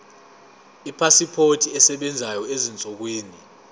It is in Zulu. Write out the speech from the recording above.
ipasipoti esebenzayo ezinsukwini